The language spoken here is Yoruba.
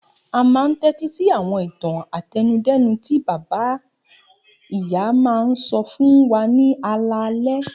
A máa ń tẹ́tí sí àwọn ìtàn àtẹnudẹ́nu tí bàbá-ìyá máa ń sọ fún wa ní alaalẹ́.